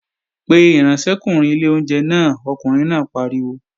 Pe ìránṣẹ́kùnrin ilé oúnjẹ náà, ọkùnrin náà pariwo!